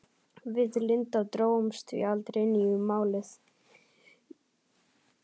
Við Linda drógumst því aldrei inn í Málið.